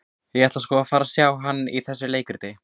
Ég ætla sko að fara og sjá hann í þessu leikriti.